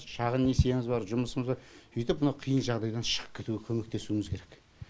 шағын несиеміз бар жұмысымыз бар сөйтіп мынау қиын жағдайдан шығып кетуіге көмектесуіміз керек